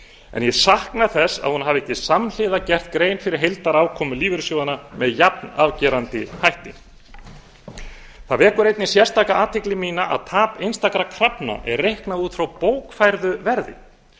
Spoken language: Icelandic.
en ég sakna þess að hún hafi ekki samhliða gert grein fyrir heildarafkomu lífeyrissjóðanna með jafnafgerandi hætti það vekur einnig sérstaka athygli mína að tap einstakra krafna er reiknað út frá bókfærðu verði